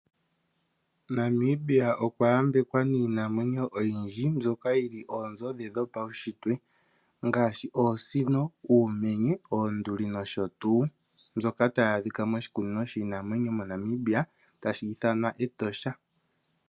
Namibia okwa yambekwa niinamwenyo oyindji mbyoka yili oonzo dhopawushitwe, ngaashi oosino, uumenye, oonduli nosho tuu. Mbyoka tayi adhika moshikunino shiinamwenyo moNamibia tashi ithwanwa Etosha.